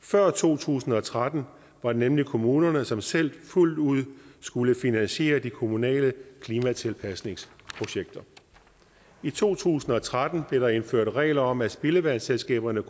før to tusind og tretten var det nemlig kommunerne som selv fuldt ud skulle finansiere de kommunale klimatilpasningsprojekter i to tusind og tretten blev der indført regler om at spildevandsselskaberne